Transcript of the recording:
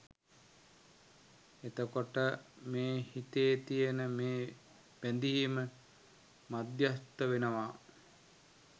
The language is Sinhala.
එතකොට මේ හිතේ තියෙන මේ බැඳීම මධ්‍යස්ථ වෙනවා